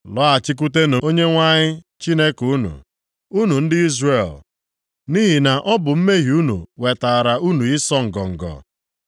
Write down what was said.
Lọghachikwutenụ Onyenwe anyị Chineke unu, unu ndị Izrel; nʼihi na ọ bụ mmehie unu wetaara unu ịsọ ngọngọ.